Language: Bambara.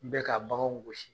N bɛ ka baganw gosi